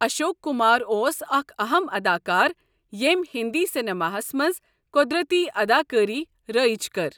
اَشوک کُمار اوس اَکھ اَہم اَداکار ییٚمۍ ہنٛدی سیٚنِماہس منٛز قۄدرٔتی اَداکٲری رٲیِج کٔر۔